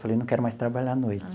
Falei, não quero mais trabalhar à noite.